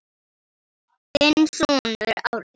Þinn sonur Árni.